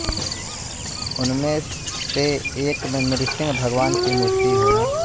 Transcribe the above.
उनमें से एक में नृसिंह भगवान की मूर्ति है